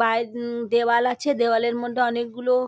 by উম দেওয়াল আছে দেওয়ালের মধ্যে অনেকগুলো --